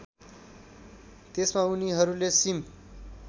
त्यसमा उनीहरूले सिम